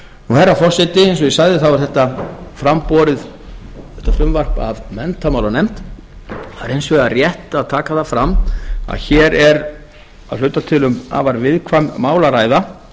herra forseti ég sagði að þetta frumvarp væri fram borið af menntamálanefnd það er hins vegar rétt að taka það fram að hér er að hluta til um afar viðkvæm mál að ræða